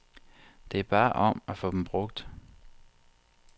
Det er bare om at få dem brugt.